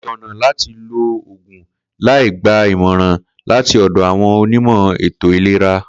Kò tó̩nà láti lo ògùn láì gba ìmò̩ràn láti ò̩dò̩ àwo̩n onímò̩ ètò ìlera